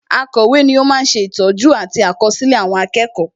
Akọ̀wé ni ó ma ń sè ìtọ́jú àti àkọsílẹ̀ àwọn akẹ́kọ̀ọ́